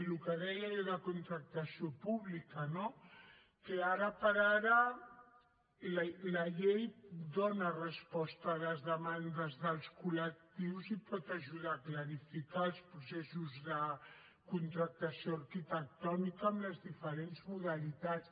el que deia jo de contractació pública no que ara per ara la llei dona resposta a les demandes dels col·lectius i pot ajudar a clarificar els processos de contractació arquitectònica en les diferents modalitats